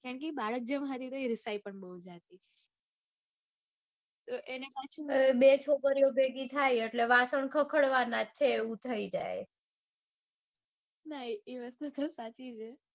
કેમ કે એ બાળક જેમ રિસાઈ પણ જાતિ હતી. તો એને પાછું. પણ બે છોકરીઓ ભેગી થાય એટલે વાસણ ખખડવાના છે એવું થઇ જાય. ના એ વસ્તુ પણ સાચી છે.